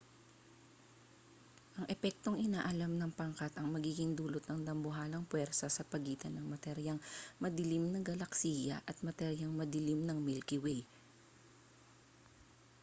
ang epektong inaalam ng pangkat ang magiging dulot ng dambuhalang puwersa sa pagitan ng materyang madilim ng galaksiya at materyang madilim ng milky way